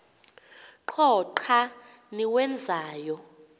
qho xa niwenzayo